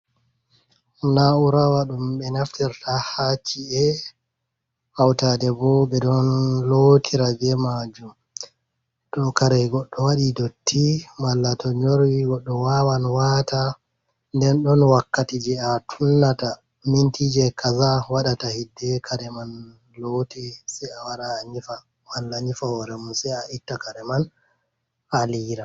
Naura wa ɗum ɓe naftirta ha ci’e hautade bo be ɗon lotira be majum to kare goɗɗo waɗi dotti malla to nyorwi goɗɗo wawan wata nden ɗon wakkati je a tunnata minti je kaza waɗata hidde kare man looti se a wara a nyifa walla nyifa hore mun se a itta kare man a liyra.